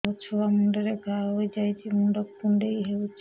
ମୋ ଛୁଆ ମୁଣ୍ଡରେ ଘାଆ ହୋଇଯାଇଛି ମୁଣ୍ଡ କୁଣ୍ଡେଇ ହେଉଛି